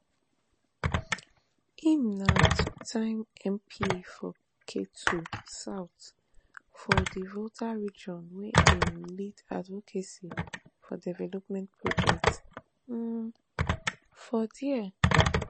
im na twoterm mp for ketu south for di volta region wia im lead advocacy for development projects um for dia